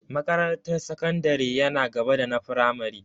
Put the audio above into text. Makarantar sakandare yana gaba da na firamare.